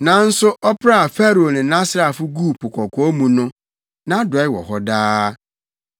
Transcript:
Nanso ɔpraa Farao ne nʼasraafo guu Po Kɔkɔɔ mu no. Nʼadɔe wɔ hɔ daa.